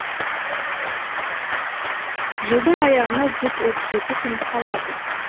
жылдың аяғына жүз отыз жеті күн қалады